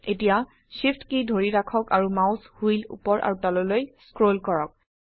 এতিয়া SHIFT কী ধৰি ৰাখক আৰু মাউস হুইল উপৰ আৰু তললৈ স্ক্ৰল কৰক